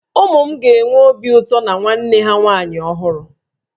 Ụmụ m ga-enwe obi ụtọ na nwanne ha nwaanyị ọhụrụ